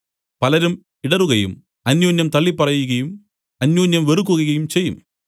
പലരും ഇടറുകയും അന്യോന്യം തള്ളിപ്പറകയും അന്യോന്യം വെറുക്കുകയും ചെയ്യും